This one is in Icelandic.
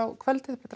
um kvöldið þú ætlar að